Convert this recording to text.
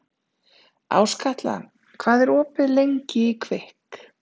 Áskatla, hvað er opið lengi í Kvikk?